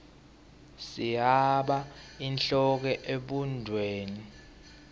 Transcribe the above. sihaba inhloko ebhudlweni